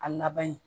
A laban ye